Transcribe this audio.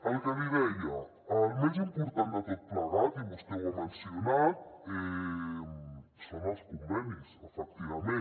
el que li deia el més important de tot plegat i vostè ho ha mencionat són els convenis efectivament